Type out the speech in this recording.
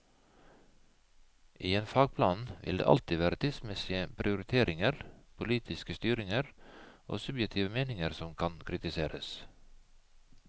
I en fagplan vil det alltid være tidsmessige prioriteringer, politiske styringer og subjektive meninger som kan kritiseres.